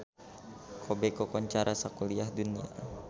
Kobe kakoncara sakuliah dunya